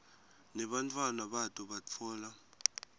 nebantfwana bato batfola